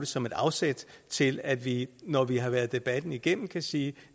som et afsæt til at vi når vi har været debatten igennem kan sige